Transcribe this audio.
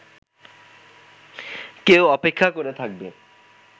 কেউ অপেক্ষা করে থাকবে